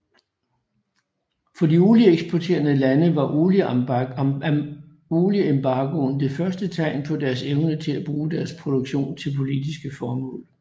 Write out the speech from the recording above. For de olieeksporterende lande var olieembargoen det første tegn på deres evne til bruge deres produktion til politiske formål